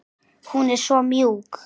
Hún er svo mjúk.